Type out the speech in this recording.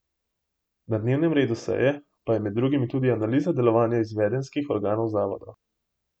Na dnevnem redu seje pa je med drugim tudi analiza delovanja izvedenskih organov zavoda.